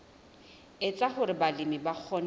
etsa hore balemi ba kgone